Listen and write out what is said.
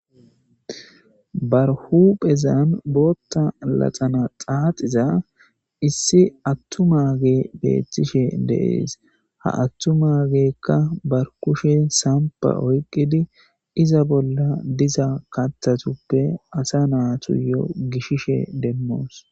barhu phezan bootta laxana xaaxiza issi attu maage beethtishe deees ha attu maagekka barkushe sampa oyqqidi iza bolla diza katthatuppe asa naatuyo gishishe demmoos